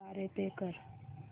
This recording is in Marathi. द्वारे पे कर